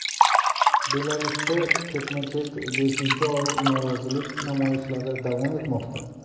Belarusda ketma-ket beshinchi oy norozilik namoyishlari davom etmoqda.